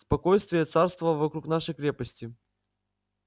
спокойствие царствовало вокруг нашей крепости